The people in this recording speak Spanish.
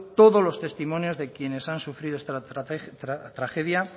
todos los testimonios de quienes han sufrido esta tragedia